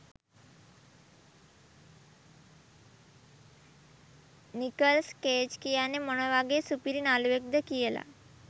Nicholls Cage කියන්නෙ මොන වගේ සුපිරි නළුවෙක්ද කියලා.